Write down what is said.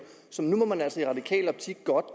så nu må man altså i radikal optik godt